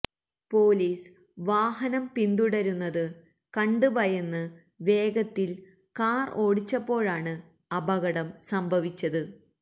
police വാഹനം പിന്തുടരുന്നത് കണ്ട് ഭയന്ന് വേഗത്തിൽ കാർ ഓടിച്ചപ്പോഴാണ് അപകടം സംഭവിച്ചത്